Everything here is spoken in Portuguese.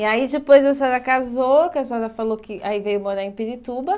E aí depois a senhora casou, que a senhora falou que aí veio morar em Pirituba.